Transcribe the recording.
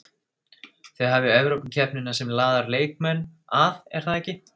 Þið hafið Evrópukeppnina sem laðar leikmenn að er það ekki?